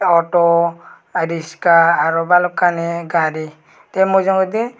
ah auto adiska aaro balukani gari te mujungedi.